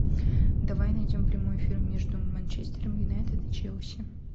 давай найдем прямой эфир между манчестер юнайтед и челси